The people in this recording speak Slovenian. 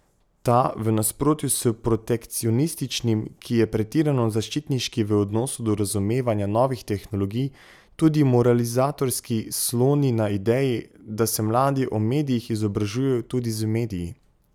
Ta, v nasprotju s protekcionističnim, ki je pretirano zaščitniški v odnosu do razumevanja novih tehnologij, tudi moralizatorski, sloni na ideji, da se mladi o medijih izobražujejo tudi z mediji.